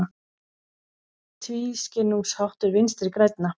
Tvískinnungsháttur Vinstri grænna